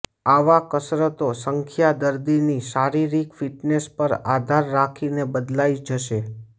આવા કસરતો સંખ્યા દર્દીની શારીરિક ફિટનેસ પર આધાર રાખીને બદલાઈ જશે